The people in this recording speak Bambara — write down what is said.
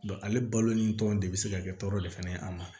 ale balo ni tɔn de bɛ se ka kɛ tɔɔrɔ de fana ye an ma